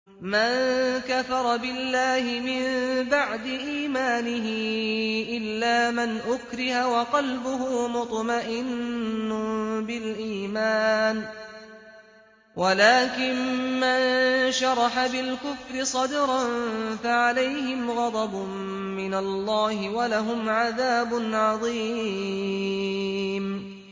مَن كَفَرَ بِاللَّهِ مِن بَعْدِ إِيمَانِهِ إِلَّا مَنْ أُكْرِهَ وَقَلْبُهُ مُطْمَئِنٌّ بِالْإِيمَانِ وَلَٰكِن مَّن شَرَحَ بِالْكُفْرِ صَدْرًا فَعَلَيْهِمْ غَضَبٌ مِّنَ اللَّهِ وَلَهُمْ عَذَابٌ عَظِيمٌ